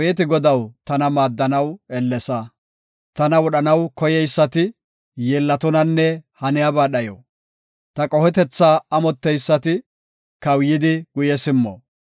Tana wodhanaw koyeysati, yeellatonanne haniyaba dhayo. Ta qohetetha amotteysati, kawuyidi guye simmo.